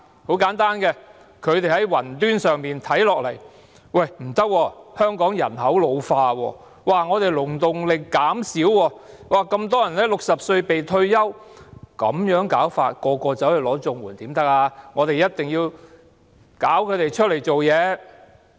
很簡單，他們從雲端上看下來，發現香港人口老化，勞動力減少，那麼多人在60歲"被退休"，這樣的話，若每個人均申領綜援可不行，一定要令他們外出工作。